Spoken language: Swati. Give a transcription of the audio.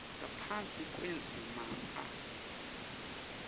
ngaphasi kwendzima a